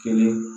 Kelen